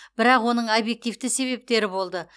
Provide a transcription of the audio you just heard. бірақ оның объективті себептері болды